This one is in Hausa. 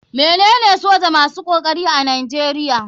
Me nene soja masu kokari a nigeria.